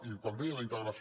i quan deia la integració